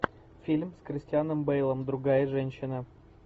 фильм с кристианом бэйлом другая женщина